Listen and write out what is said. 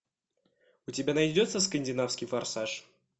у тебя найдется скандинавский форсаж